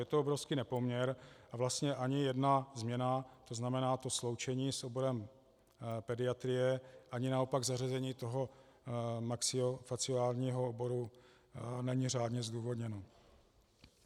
Je to obrovský nepoměr a vlastně ani jedna změna, to znamená to sloučení s oborem pediatrie, ani naopak zařazení toho maxilofaciálního oboru není řádně zdůvodněno.